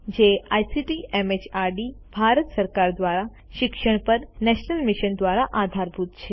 જે ICT MHRD Bharat સરકાર દ્વારા શિક્ષણ પર નેશનલ મિશન દ્વારા આધારભૂત છે